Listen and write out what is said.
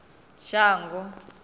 shango